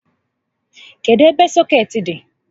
Kedụ ebe sọkeetị dị?